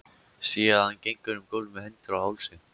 Sé að hann gengur um gólf með hendur á hálsi.